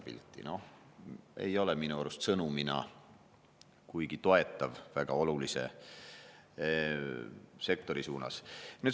See ei ole minu arust sõnumina kuigi toetav väga olulise sektori suunas.